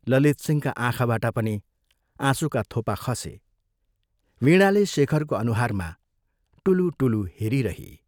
ललितसिंहका आँखाबाट पनि आँसुका थोपा खसे वीणाले शेखरको अनुहारमा टुलुटुलु हेरिरही।